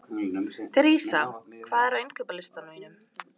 Theresa, hvað er á innkaupalistanum mínum?